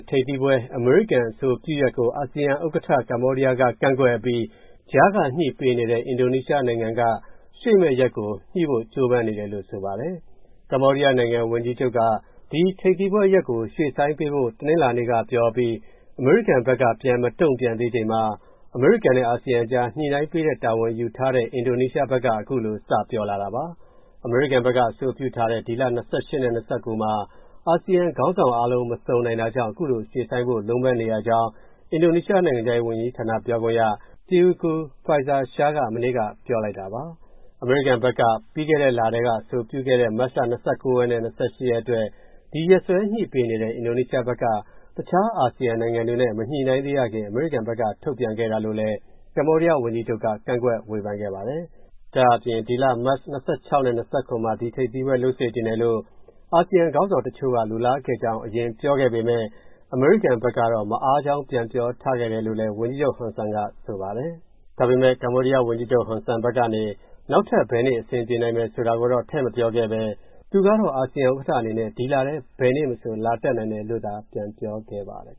ထိပ်သီးပွဲ အမေရိကန်အဆိုပြုထားတဲ့ရက်ကို အာဆီယံဥက္ကဋ္ဌ ကမ္ဘောဒီးယားက ကန့်ကွက်အပြီး ကြားက ညှိပေးနေတဲ့ အင်ဒိုနီးရှားနိုင်ငံက ရွေးမယ့်ရက်ကို ကြိုးပမ်းနေတယ်လို့ ဆိုပါတယ်။ ကမ္ဘောဒီးယားဝန်ကြီးချုပ်က ဒီထိပ်သီးပွဲရက်ကို ရွှေ့ဆိုင်းပေးဖို့ တနင်္လာနေ့ကပြောအပြီး အမေရိကန်ဘက်က ပြန်မတုံ့ပြန်သေးချိန်မှာ အမေရိကန်နဲ့ အာဆီယံကြား ညှိပေးရတဲ့ တာဝန်ယူထားတဲ့ အင်ဒိုနီးရှားဘက်က အခုလို စပြောလာတာပါ။ အမေရိကန်ဘက်က အဆိုပြုထားတဲ့ ဒီလ ၂၈ နဲ့ ၂၉ မှာ အာဆီယံခေါင်းဆောင်အားလုံး မစုံနိုင်တာကြောင့် အခုလို ရွှေ့ဆိုင်းဖို့ လုံးပမ်းနေရကြောင်း အင်ဒိုနီးရှား နိုင်ငံခြားရေးဝန်ကြီးဌာနပြောခွင့်ရ Teuku Faizasyah က မနေ့က ပြောလိုက်တာပါ။ အမေရိကန်ဘက်က ပြီးခဲ့တဲ့လထဲ အဆိုပြုခဲ့တဲ့ မတ်လ ၂၈ နဲ့ ၂၉ အတွက် ဒီရက်စွဲညှိပေးနေတဲ့ အင်ဒိုနီးရှားဘက်က တခြားအာဆီယံ နိုင်ငံတွေနဲ့ မညှိနှိုင်းရသေးခင် အမေရိကန်ဘက်က ထုတ်ပြန်ခဲ့တာလို့လည်း ကမ္ဘောဒီးယားဝန်ကြီးချုပ်က ကန့်ကွက်ဝေဖန်ခဲ့ပါတယ်။ ဒါ့အပြင် ဒီလ မတ် ၂၆ နဲ့ ၂၇ မှာ ဒီထိပ်သီးပွဲလုပ်စေချင်တယ်လို့ အာဆီယံခေါင်းဆောင်တချို့က လိုလားခဲ့ကြောင်း အရင်ပြောခဲ့ပေမယ့် အမေရိကန်ဘက်တော့ မအားကြောင်း ပြန်ပြောထားခဲ့တယ်လို့လည်း ဝန်ကြီးချုပ် Hun Sen က ဆိုပါတယ်။ ဒါပေမဲ့ ကမ္ဘောဒီးယားဝန်ကြီးချုပ် Hun Sen ဘက်ကနေ နောက်ထပ် ဘယ်နေ့ အဆင်ပြေနိုင်မယ်ဆိုတာကိုတော့ ထည့်မပြောခဲ့ဘဲ သူကတော့ အာဆီယံ ဥက္ကဋ္ဌအနေနဲ့ ဒီလထဲ ဘယ်နေ့မဆို လာတက်နိုင်တယ်လို့သာ ပြန်ပြောခဲ့ပါတယ်